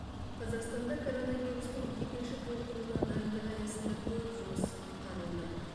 қазақстанда коронавирустың екінші толқынына дайындық аясында көп жұмыс атқарылды